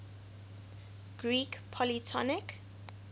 greek polytonic